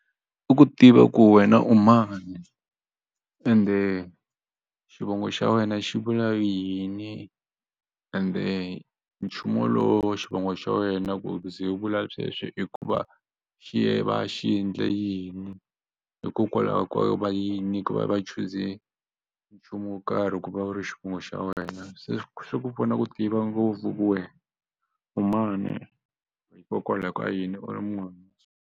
I ku tiva ku wena u mani ende xivongo xa wena xi vula yini ende nchumu lowu xivongo xa wena ku ku ze u vula sweswo hikuva xi va xi endle yini hikokwalaho ko va yini ku va va chuze nchumu wo karhi ku va u ri xivongo xa wena se swi ku pfuna ku tiva ngopfu ku wehe u mani hikokwalaho ka yini u ri munhu.